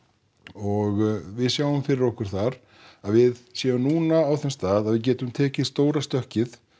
og við sjáum núna fyrir okkur það að við séum núna á þeim stað að við getum tekið stóra stökkið